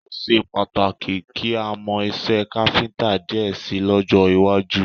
Ó ṣe pàtàkì kí a mọ iṣẹ́ káfíńtà díẹ̀ ṣe lọ́jọ́ iwájú